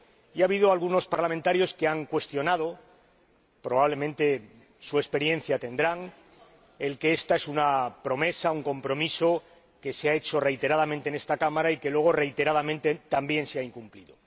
Ha habido algunos diputados que han afirmado —probablemente basándose en su experiencia-que ésta es una promesa, un compromiso, que se ha hecho reiteradamente en esta Cámara y que luego, reiteradamente también, se ha incumplido.